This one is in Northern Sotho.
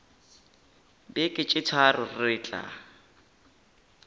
beke tše tharo re tla